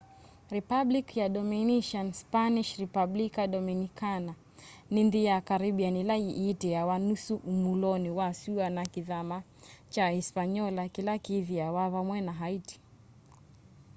republic ya dominican spanish: republica dominicana ni nthi ya caribbean ila yitiawa nusu umuloni wa sua na kithama kya hispaniola kila kithiiwa vamwe na haiti